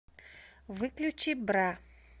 выключи бра